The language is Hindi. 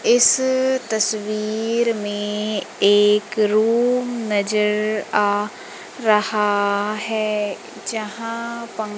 इस तस्वीर में एक रूम नजर आ रहा है जहां पं--